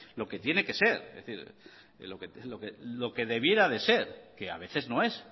lo que tiene que ser lo que debiera de ser que a veces no es